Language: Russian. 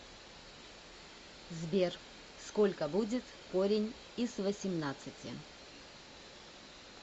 сбер сколько будет корень из восемнадцати